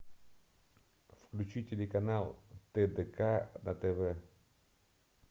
включи телеканал тдк на тв